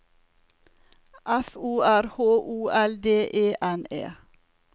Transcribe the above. F O R H O L D E N E